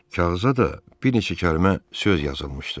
Kağıza da bir neçə kəlmə söz yazılmışdı.